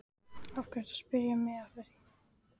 Af hverju ertu að spyrja mig að því?